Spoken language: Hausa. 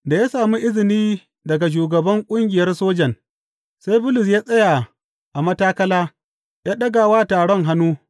Da ya sami izini daga shugaban ƙungiyar sojan, sai Bulus ya tsaya a matakala, ya ɗaga wa taron hannu.